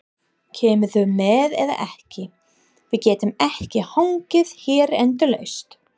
Kemurðu með eða ekki. við getum ekki hangið hér endalaust!